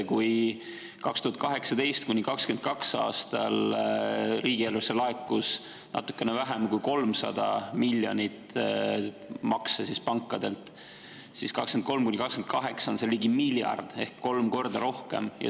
Kui 2018–2022 laekus riigieelarvesse pankadelt natukene vähem kui 300 miljoni eest makse, siis 2023–2028 on seda ligi miljard ehk kolm korda rohkem.